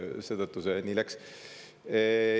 Seetõttu see nii läks.